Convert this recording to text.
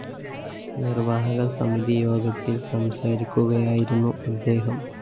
നിര്‍വാഹക സമിതി യോഗത്തില്‍ സംസാരിക്കുകയായിരുന്നു അദ്ദേഹം